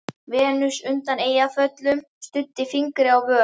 Venus undan Eyjafjöllum studdi fingri á vör.